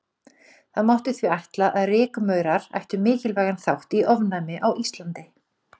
Það mátti því ætla að rykmaurar ættu mikilvægan þátt í ofnæmi á Íslandi.